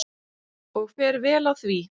Og fer vel á því.